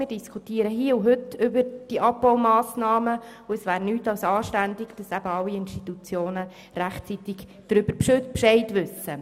Wir diskutieren hier und heute über die Abbaumassnahmen, und es wäre nichts als anständig, dass alle Institutionen rechtzeitig Bescheid wüssten.